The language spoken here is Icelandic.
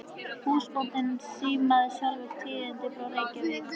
Húsbóndinn símaði sjálfur tíðindin frá Reykjavík.